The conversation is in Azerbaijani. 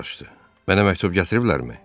Mənə məktub gətiriblərmi?